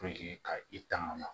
ka i tanga